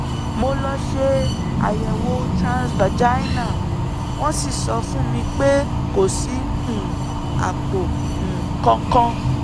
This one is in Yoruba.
mo lọ ṣe àyẹ̀wò transvaginal wọ́n sì sọ fún mi pé kò sí um àpò um kankan